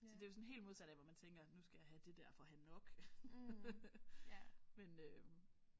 Så det er jo sådan helt modat af hvad man tænker nu skal jeg have det der for at have nok men øh